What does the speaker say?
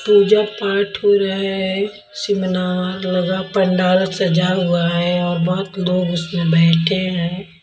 पूजा पाठ हो रहा है सिमिनार लगा पण्डाल सजा हुआ है और बहुत लोग उसमें बैठे हैं।